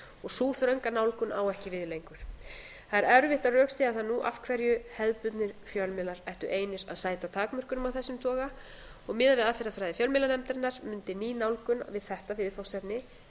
og sú þrönga nálgun á ekki við lengur það er erfitt að rökstyðja það nú af hverju hefðbundna fjölmiðlar ættu einir að sæta takmörkunum af þessum toga og miðað við aðferðafræði fjölmiðlanefndarinnar mundi ný nálgun við þetta viðfangsefni